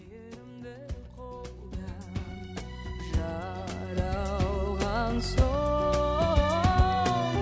мейірімді қолда жаралған соң